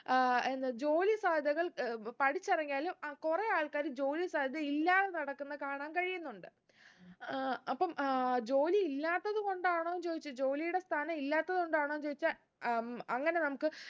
ആഹ് എന്താ ജോലി സാധ്യതകൾ ഏർ പഠിച്ച് ഇറങ്ങിയാലും അഹ് കുറേ ആള്‍ക്കാര് ജോലി സാധ്യത ഇല്ലാതെ നടക്കുന്ന കാണാൻ കഴിയുന്നുണ്ട് ഏർ അപ്പം ഏർ ജോലി ഇല്ലാത്തത് കൊണ്ടാണോന്ന് ചോയ്ച്ച ജോലിയുടെ സ്ഥാനം ഇല്ലാത്തത് കൊണ്ടാണോന്ന് ചോയ്ച്ച ഉം അങ്ങനെ നമുക്ക്